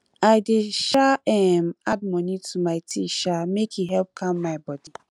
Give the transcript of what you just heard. i dey um um add honey to my tea um make e help calm my bodi